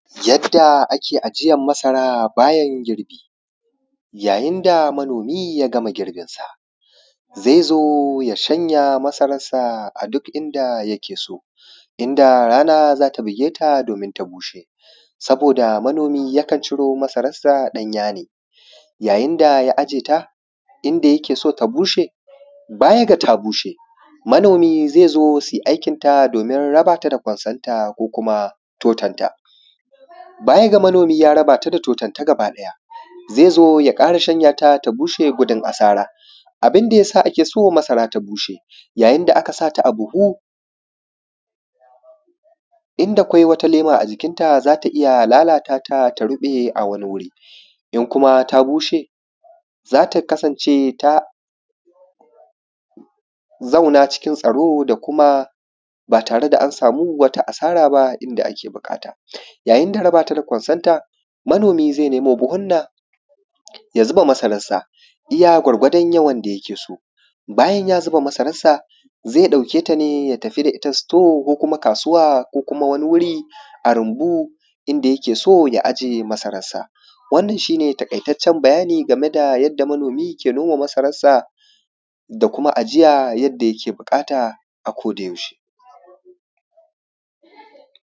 Yadda ake ajiyar masara bayan girbi. Ya yin da manomi ya gama girbinsa, zai zo ya shanya masararsa a duk inda yake so, inda rana za ta bugeta doomin ta bushe, sabooda manomi yakan ciro masararsa ɗanya ne ya yin da in ya ajiye ta inda yake so ta bushe. Baya da ta bushe manomi zai zo suyi aikin ta rabata da kwansanta ko kuma totonta, baya da manomi ya rabaata da toton ta gaba ɗaya zai zo ya ƙara shanya ta ta bushe gudun asara. Abin da ya sa ake so masara ta bushe yayin da aka sa ta a buhu inda kwai wata leema a jikin ta za ta iya lalatata ta ruɓe a wani wuri. In kuma ta bushe za ta kasance ta zauna cikin tsaro da kuma baa tare da ta samu wata asara baa inda ake buƙata yayin da rabata da kwarsanta manomi zai nemo buhunna ya zuba masararsa iya gwargwadon yawan da yake so. Bayan ya zuba masararsa zai ɗauke ta ne ya tafi da ita store ko kuma kaasuwa ko kuma wani wuri a rumbu inda yake so ya ajiye masararsa. Wannan shi ne taƙaitaccen bayani game da yadda manomi ke noma masararsa da kuma ajiya yadda yake buƙata a-ko-da-yaushe